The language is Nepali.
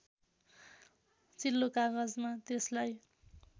चिल्लो कागजमा त्यसलाई